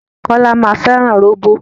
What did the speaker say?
Kọ́lá máa fẹ́ràn róbó.